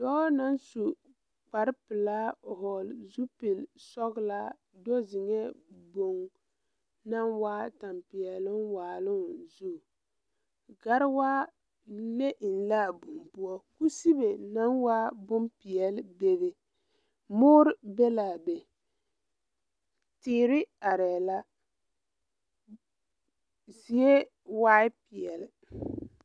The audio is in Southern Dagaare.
Dɔɔ naŋ su kparepelaa hɔɔle zupilsɔglaa do zeŋɛɛ boŋ naŋ waa tampɛloŋ waaloŋ zu gariwaa le eŋ laa boŋ poɔ kusibe naŋ waa bonpeɛle bebe moore be laa be teere arɛɛ la zie waai peɛle.